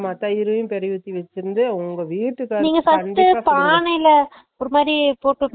ஆமா தயிர்உம் பிறை உத்தி வெச்சுருந்து நீ first உ உங்க விட்டுகாறருக்கு கண்டிப்பா குடு நீங்க first உ பண்ணைல ஒரு மாதிரி போட்டு வெச்சுருந்திங்களா